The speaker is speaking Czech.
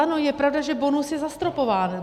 Ano, je pravda, že bonus je zastropován.